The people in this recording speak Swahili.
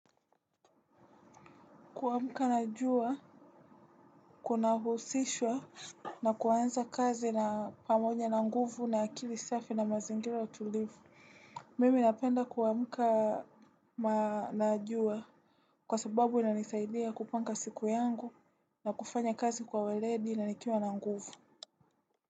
Kuamka na jua, kunahusishwa na kuanza kazi na pamoja na nguvu na akili safi na mazingira tulivu. Mimi napenda kuamka na jua kwa sababu inanisaidia kupanga siku yangu na kufanya kazi kwa weledi na nikiwa na nguvu.